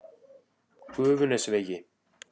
Gufunesvegi